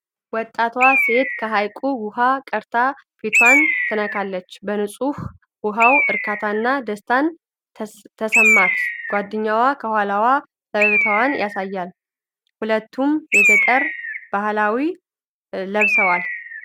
ወጣቷ ሴት ከሐይቁ ውኃ ቀድታ ፊቷን ትነካለች። በንጹህ ውኃው እርካታና ደስታ ተሰማት። ጓደኛዋ ከኋላዋ ፈገግታውን ያሳያል። ሁለቱም የገጠር ባህላዊ ልብስ ለብሰዋል።